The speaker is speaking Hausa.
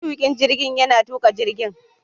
Matukin jirgin yana tuka jirgin